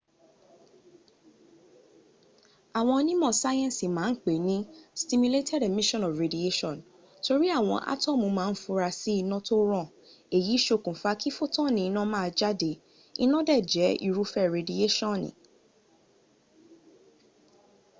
àwọn onímọ̀ sáyẹ́nsì ma n pè ní stimulated emission of radiation” torí àwọn átọ́mù ma ń fura sí iná tó ràn èyí ṣokùn fa kí fotoni ina maa jáde, iná dẹ̀ jẹ́ irúfẹ́ redieṣọ́ni